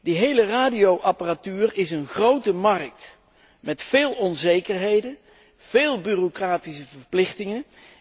Die hele radioapparatuur is een grote markt, met veel onzekerheden, veel bureaucratische verplichtingen.